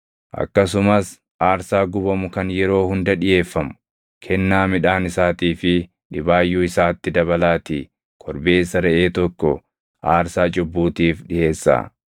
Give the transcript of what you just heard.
Akkasumas aarsaa gubamu kan yeroo hunda dhiʼeeffamu, kennaa midhaan isaatii fi dhibaayyuu isaatti dabalaatii korbeessa reʼee tokko aarsaa cubbuutiif dhiʼeessaa.